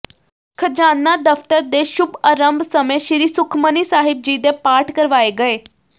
ਖਜਾਨਾ ਦਫਤਰ ਦੇ ਸ਼ੁਭ ਅਰੰਭ ਸਮੇਂ ਸ੍ਰੀ ਸੁਖਮਣੀ ਸਾਹਿਬ ਜੀ ਦੇ ਪਾਠ ਕਰਵਾਏ ਗਏ